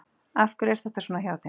Af hverju er þetta svona hjá þeim?